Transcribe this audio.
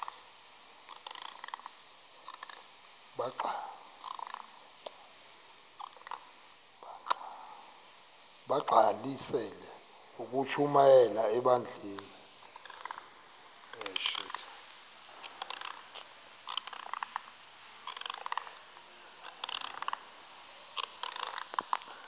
bagqalisele ukushumayela ebandleni